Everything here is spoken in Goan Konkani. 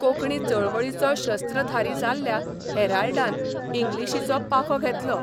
कोंकणी चळवळीचो शस्त्रधारी जाल्ल्या 'हॅराल्डा'न इंग्लिशीचो पाखो घेतलो.